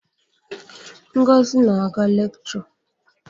Ngozi na-aga lekchọ.